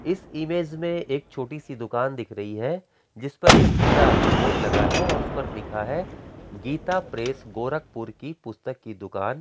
इस इमेज में एक छोटी सी दुकान दिख रही हैजिस पर एक पीला बोर्ड लगा है और उस पर लिखा है गीता प्रेस गोरखपुर की पुस्तक की दुकान।